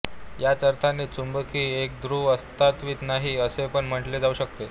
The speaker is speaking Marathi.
ह्याच अर्थाने चुंबकी एकध्रुव अस्तित्वात नाही असेपण म्हटले जाऊ शकते